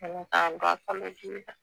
kalodibi la.